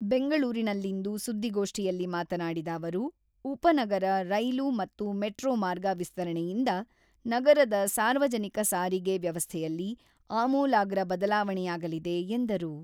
ಬೆಂಗಳೂರಿನಲ್ಲಿಂದು ಸುದ್ದಿಗೋಷ್ಠಿಯಲ್ಲಿ ಮಾತನಾಡಿದ ಅವರು, ಉಪನಗರ ರೈಲು ಮತ್ತು ಮೆಟ್ರೋ ಮಾರ್ಗ ವಿಸ್ತರಣೆಯಿಂದ ನಗರದ ಸಾರ್ವಜನಿಕ ಸಾರಿಗೆ ವ್ಯವಸ್ಥೆಯಲ್ಲಿ ಆಮೂಲಾಗ್ರ ಬದಲಾವಣೆಯಾಗಲಿದೆ ಎಂದರು.